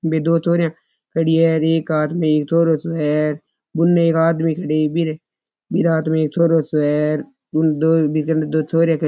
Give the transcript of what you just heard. बे दो छोरिया खड़ी है कार है और एक आदमी है उनने एक आदमी खड़े है फिर एक आदमी एक छोरो से है बे दो छोरे खड़े है।